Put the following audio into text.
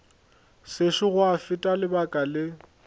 sešo gwa feta lebaka le